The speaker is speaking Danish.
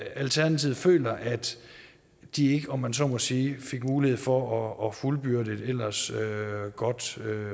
alternativet føler at de ikke om jeg så må sige fik mulighed for at fuldbyrde et ellers godt